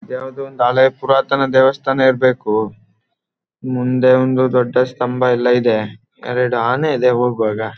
ಇದು ಯಾವ್ದೋ ಒಂದು ಹಳೇ ಪುರಾತನ ದೇವಸ್ಥಾನ ಇರ್ಬೇಕು ಮುಂದೆ ಒಂದು ದೊಡ್ಡ ಸ್ತಂಭ ಎಲ್ಲ ಇದೆ ಎರಡು ಆನೆ ಇದೆ ಹೋಗುವಾಗ.